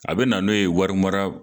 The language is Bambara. A bɛ na n'o ye wari mara